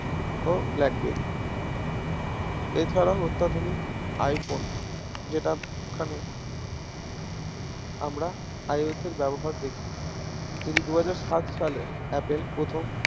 ও BlackBerry এছারাও অত্যাধুনিক iPhone যেটা খানে আমরা Ios এর ব্যবহার দেখি দুহাজার সাত সালে apple প্রথম